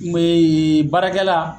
N be baarakɛla